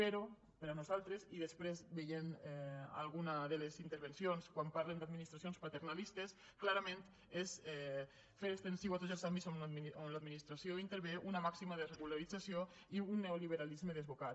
però per nosaltres i després veient alguna de les intervencions quan parlen d’ administracions paternalistes clarament és fer extensiu a tots els àmbits on l’administració intervé una màxima desregulació i un neoliberalisme desbocat